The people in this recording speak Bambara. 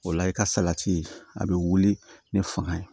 O la i ka salati a bɛ wuli ni fanga ye